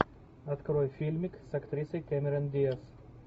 открой фильмик с актрисой кэмерон диаз